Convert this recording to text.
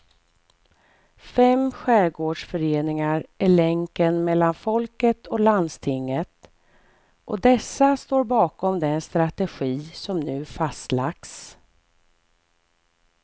Fem skärgårdsföreningar är länken mellan folket och landstinget och dessa står bakom den strategi som nu fastlagts.